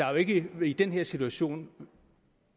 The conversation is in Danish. jo ikke i den her situation